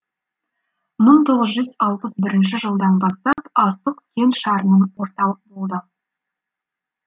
мың тоғыз жүз алпыс бірінші жылдан бастап астық кеңшарының орталық болды